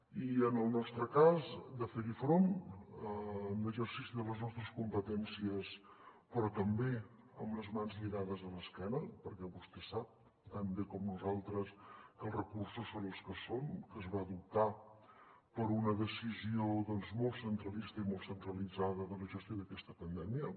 i en el nostre cas de fer hi front en exercici de les nostres competències però també amb les mans lligades a l’esquena perquè vostè sap tan bé com nosaltres que els recursos són els que són que es va optar per una decisió doncs molt centralista i molt centralitzada de la gestió d’aquesta pandèmia